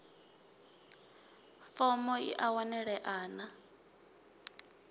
fomo i a wanalea na